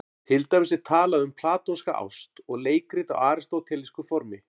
Til dæmis er talað um platónska ást og leikrit á aristótelísku formi.